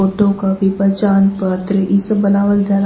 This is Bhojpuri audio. टू कापी पहचान पत्र ई सब बनावल जाला।